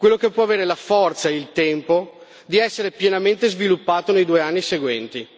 Quello che può avere la forza e il tempo di essere pienamente sviluppato nei due anni seguenti.